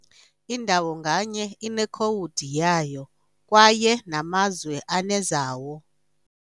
Indawo nganye inekhowudi yayo, kwaye namazwe anezawo ].